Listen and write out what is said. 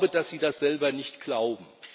Ich glaube, dass Sie das selber nicht glauben.